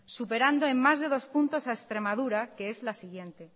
superando en más de dos puntos a extremadura que es la siguiente